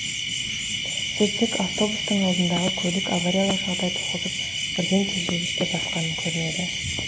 сөйтсек автобустың алдындағы көлік авариялық жағдай туғызып бірден тежегішті басқан көрінеді